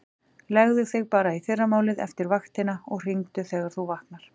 Leggðu þig bara í fyrramálið eftir vaktina og hringdu þegar þú vaknar.